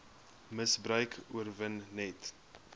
misbruik oorwin net